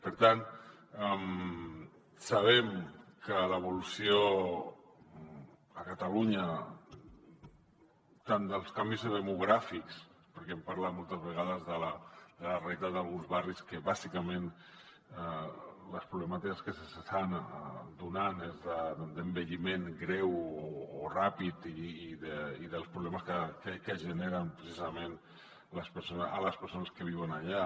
per tant sabem que l’evolució a catalunya tant dels canvis demogràfics perquè hem parlat moltes vegades de la realitat d’alguns barris que bàsicament les problemàtiques que s’hi estan donant és d’envelliment greu o ràpid i dels problemes que generen precisament a les persones que viuen allà